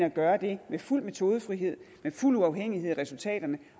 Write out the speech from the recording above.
at gøre det med fuld metodefrihed med fuld uafhængighed i resultaterne